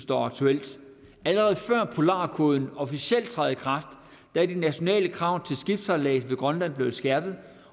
der aktuelt allerede før polarkoden officielt træder i kraft er de nationale krav til skibssejlads ved grønland blevet skærpet